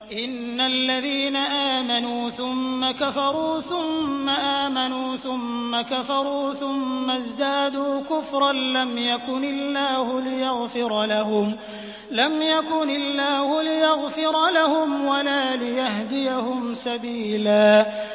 إِنَّ الَّذِينَ آمَنُوا ثُمَّ كَفَرُوا ثُمَّ آمَنُوا ثُمَّ كَفَرُوا ثُمَّ ازْدَادُوا كُفْرًا لَّمْ يَكُنِ اللَّهُ لِيَغْفِرَ لَهُمْ وَلَا لِيَهْدِيَهُمْ سَبِيلًا